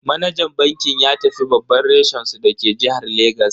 Manajan bankin ya tafi babban reshen su dake jihar Legas.